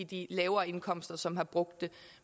de lavere indkomster som har brugt det